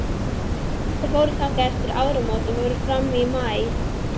Þau fóru þangað eftir áramót og voru fram í maí.